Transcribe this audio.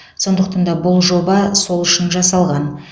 сондықтан да бұл жоба сол үшін жасалған